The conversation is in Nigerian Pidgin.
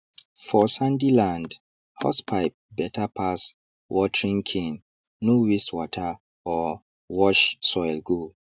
for sandy land hosepipe better pass watering cane no waste water or wash soil go